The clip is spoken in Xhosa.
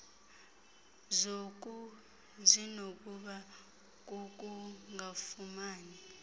zoku zinokuba kukungafumani